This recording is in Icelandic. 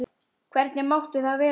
Hvernig mátti það vera?